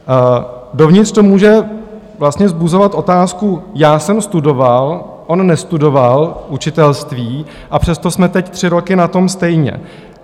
Dovnitř to může vlastně vzbuzovat otázku: já jsem studoval, on nestudoval učitelství, a přesto jsme teď tři roky na tom stejně.